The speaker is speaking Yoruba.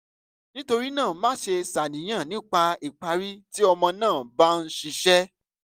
nitorina maṣe ṣàníyàn nipa ipari ti ọmọ naa ba n ṣiṣẹ